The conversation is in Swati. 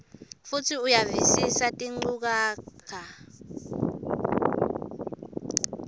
futsi uyavisisa tinchukaca